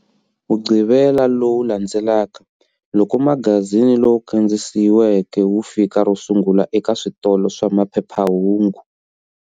Mugqivela lowu landzelaka, loko magazini lowu kandziyisiweke wu fika ro sungula eka switolo swa maphephahungu.